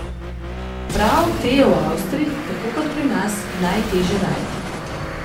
Prav te je v Avstriji, tako kot pri nas, najteže najti.